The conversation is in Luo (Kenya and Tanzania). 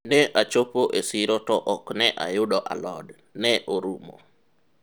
ne achopo e siro to ok ne ayudo alod, ne orumo